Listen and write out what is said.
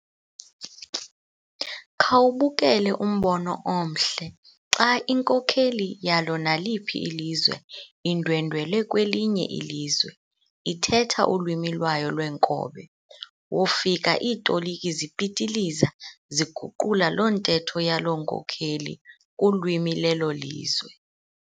Khawubukele umbono omhle xa inkokheli yalo naliphi ilizwe indwendwele kwelinye ilizwe ithetha ulwimi lwayo lwenkobe. Wofika iitoliki zipitiliza ziguqula loo ntetho yaloo nkokheli kulwimi lelo lizwe.